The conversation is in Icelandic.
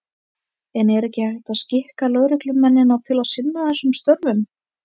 En er ekki hægt að skikka lögreglumennina til að sinna þessum störfum?